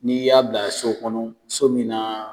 N'i y'a bila so kɔnɔ so min na